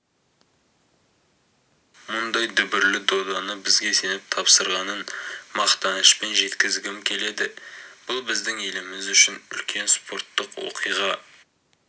мұндай дүбірлі доданы бізге сеніп тапсырғанын мақтанышпен жеткізгім келеді бұл біздің еліміз үшін үлкен спорттық оқиға